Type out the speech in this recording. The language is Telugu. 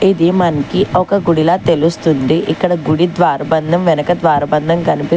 ఇది మనకి ఒక గుడిలా తెలుస్తుంది ఇక్కడ గుడి ద్వారబంధం వెనక ద్వారబంధం కనిపి --